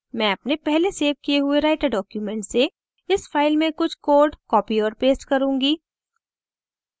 मैं अपने पहले सेव किए हुए writer document से इस फ़ाइल में कुछ code copy और paste करुँगी